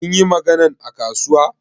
Kin yi maganan a kasuwa?